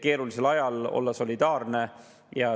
Keerulisel ajal tuleb olla solidaarne.